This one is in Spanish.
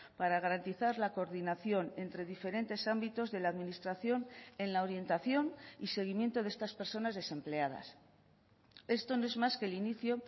para garantizar la coordinación entre diferentes ámbitos de la administración en la orientación y seguimiento de estas personas desempleadas esto no es más que el inicio